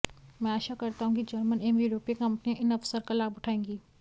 मैं आशा करता हूं कि जर्मन एवं यूरोपीय कंपनियां इन अवसर का लाभ उठाएंगी